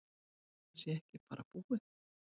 Þetta sé ekki bara búið.